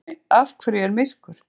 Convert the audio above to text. Spurningunni Af hverju er myrkur?